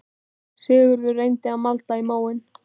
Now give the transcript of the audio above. Sigurður reyndi að malda í móinn